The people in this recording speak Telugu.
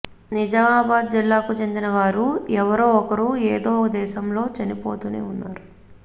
నిజామాబాద్ జిల్లాకు చెందిన వారు ఎవరో ఒకరు ఏదోక దేశంలో చనిపోతునే ఉన్నారు